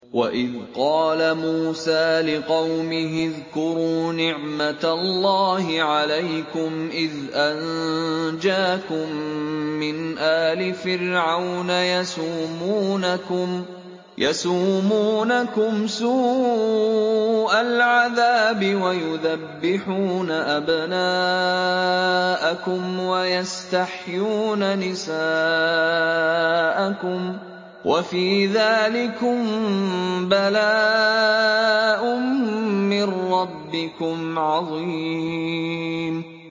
وَإِذْ قَالَ مُوسَىٰ لِقَوْمِهِ اذْكُرُوا نِعْمَةَ اللَّهِ عَلَيْكُمْ إِذْ أَنجَاكُم مِّنْ آلِ فِرْعَوْنَ يَسُومُونَكُمْ سُوءَ الْعَذَابِ وَيُذَبِّحُونَ أَبْنَاءَكُمْ وَيَسْتَحْيُونَ نِسَاءَكُمْ ۚ وَفِي ذَٰلِكُم بَلَاءٌ مِّن رَّبِّكُمْ عَظِيمٌ